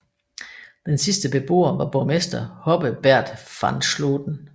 Den sidste beboer var borgmester Hobbe Baerdt van Slooten